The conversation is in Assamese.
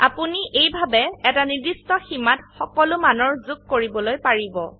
আপোনি এইভাবে এটা নিৰ্দিষ্ট সীমাত সকলো মানৰ যোগ কৰিবলৈ পাৰিব